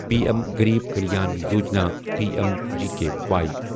P M Garib Kalyan Yojana P M G K Y